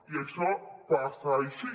i això passa així